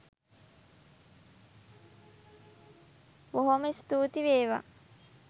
බොහෝම ස්තූති වේවා.